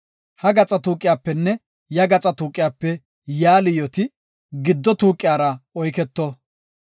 Ha gaxa tuuqiyapenne ya gaxa tuuqiyape yaa liyooti giddo tuuqiyara oyketo.